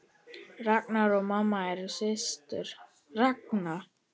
Ragna og mamma eru systur.